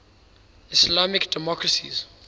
islamic democracies